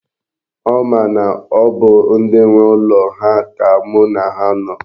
Ọ ma na ọ bụ ndi nwe ụlọ ha ka mu na ha no.